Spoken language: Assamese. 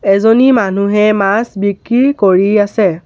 এজনী মানুহে মাছ বিক্ৰী কৰি আছে।